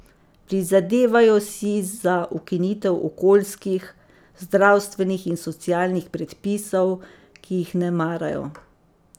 Prizadevajo si za ukinitev okoljskih, zdravstvenih in socialnih predpisov, ki jih ne marajo.